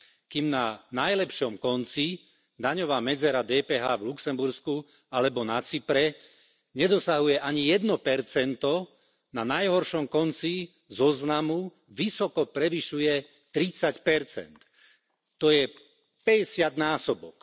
Kým na najlepšom konci daňová medzera DPH v Luxembursku alebo na Cypre nedosahuje ani 1 na najhoršom konci zoznamu vysoko prevyšuje 30 to je päťdesiat násobok.